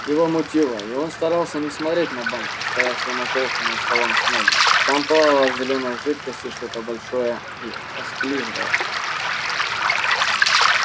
его мутило и он старался не смотреть на банку стоявшую на полке над столом снегга там плавало в зелёной жидкости что-то большое и осклизлое